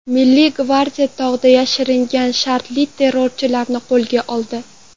Milliy gvardiya tog‘da yashiringan shartli terrorchilarni qo‘lga oldi .